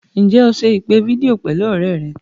Ǹjẹ́ o se ìpè fídíò pẹ̀lú ọ̀rẹ́ rẹ̀?